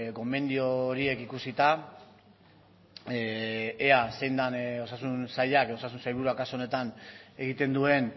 gomendio horiek ikusita ea zein den osasun sailak osasun sailburuak kasu honetan egiten duen